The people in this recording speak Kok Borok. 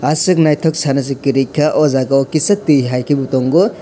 aswk naithok sana si kwrwi kha o jaga o kisa tui hai khe bo tongo.